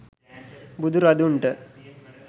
බුදු රදුන්ට